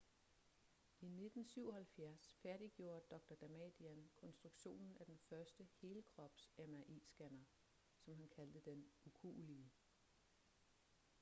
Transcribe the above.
i 1977 færdiggjorde dr damadian konstruktionen af den første helkrops mri-scanner som han kaldte den ukuelige